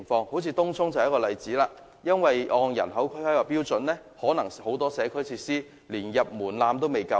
正如東涌便是一例，如果按人口進行規劃，很多社區設施可能連"入門檻"也過不了。